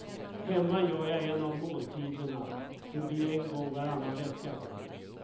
Hemma gör jag en av måltiderna, det blir en gång varannan vecka.